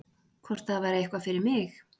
Hvort það væri eitthvað fyrir mig?